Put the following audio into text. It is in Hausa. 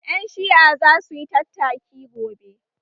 Ƴan Shi'a za su yi tattaki gobe